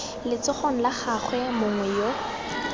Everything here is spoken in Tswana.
letsogong la gagwe mongwe yo